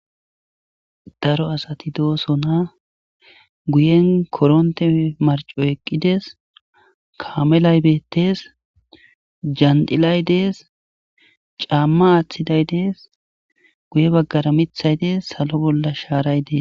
Daro asati dooso na guyen koronte marco eqqides kaamelay bettees jandilay dees caamma aaththiday dees guye baggara mithay dees salo bolla shaaray dees.